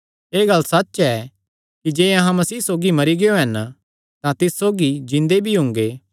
एह़ गल्ल सच्च ऐ कि जे अहां मसीह सौगी मरी गियो हन तां तिस सौगी जिन्दे भी हुंगे